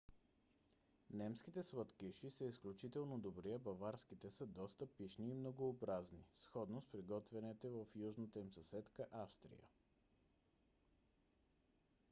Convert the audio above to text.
немските сладкиши са изключително добри а баварските са доста пищни и многообразни сходно с приготвяните в южната им съседка австрия